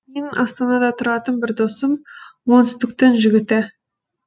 менің астанада тұратын бір досым оңтүстіктің жігіті